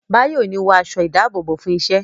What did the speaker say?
Báyọ̀ ò ní wọ aṣọ ìdábòbò fún iṣẹ́